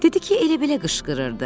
Dedi ki, elə-belə qışqırırdı.